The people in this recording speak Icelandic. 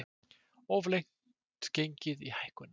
Of langt gengið í hækkunum